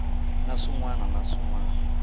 na swin wana na swin